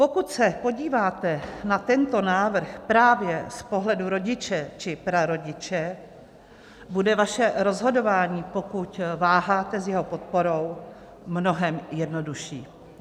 Pokud se podíváte na tento návrh právě z pohledu rodiče či prarodiče, bude vaše rozhodování, pokud váháte s jeho podporou, mnohem jednodušší.